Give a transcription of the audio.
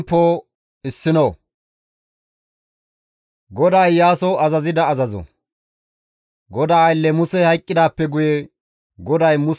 GODAA aylle Musey hayqqidaappe guye GODAY Muse maaddiza Nawe naa Iyaasos,